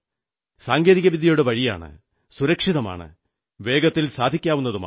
സാങ്കേതികവിദ്യയുടെ വഴിയാണ് സുരക്ഷിതമാണ് വേഗത്തിൽ സാധിക്കാവുന്നതുമാണ്